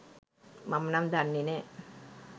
මම නම් දන්නෙ නෑ.